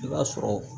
I b'a sɔrɔ